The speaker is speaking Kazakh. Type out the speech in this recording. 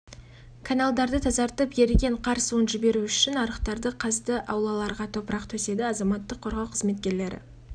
қызылордалық құтқарушылардың күш-құралдары солтүстік қазақстан облысы мүсірепов ауданы булаево қаласына жолданды адам күні түні су бұрғыш